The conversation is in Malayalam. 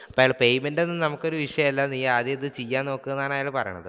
payment ഒന്നും നമുക്ക് ഒരു വിഷയമല്ല നീ ഇത് ആദ്യം ഇത് ചെയ്യാൻ നോക്കൂ എന്നാണ് അയാൾ പറയണത്